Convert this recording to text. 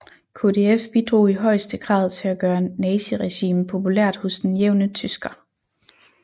KdF bidrog i højeste grad til at gøre naziregimet populært hos den jævne tysker